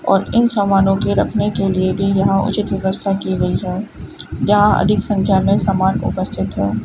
और इन सामानों के रखने के लिए भी यहां उचित व्यवस्था की गई है जहां अधिक संख्या में समान उपस्थित है।